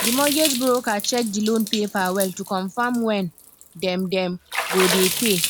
the mortgage broker check the loan paper well to confirm when dem dem go dey pay